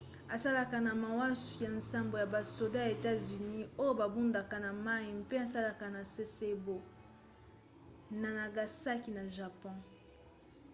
asalaka na masuwa ya nsambo ya basoda ya etats-unis oyo babundaka na mai mpe esalaka na sasebo na nagasaki na japon